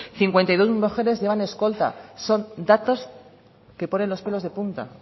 cincuenta y dos mujeres llevan escolta son datos que ponen los pelos de punta